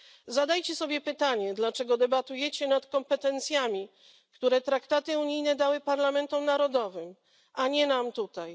Zadajcie sobie pytanie, dlaczego debatujecie nad kompetencjami, które traktaty unijne dały parlamentom narodowym, a nie nam tutaj.